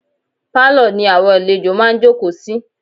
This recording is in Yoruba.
Pálọ̀ ni àwọn àlejò máa ǹ jókòó sí.